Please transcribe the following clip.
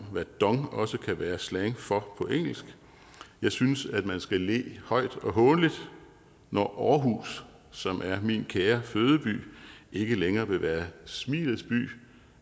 hvad dong også kan være slang for på engelsk jeg synes at man skal le højt og hånligt når aarhus som er min kære fødeby ikke længere vil være smilets by